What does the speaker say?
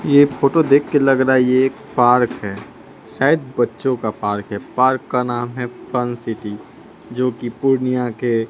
ये फोटो देख के लग रहा है ये एक पार्क है शायद बच्चों का पार्क है पार्क का नाम है फन सिटी जो कि पूर्णियां के--